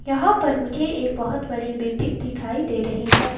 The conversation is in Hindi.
यहां पर मुझे एक बहुत बड़ी बिल्डिंग दिखाई दे रही है।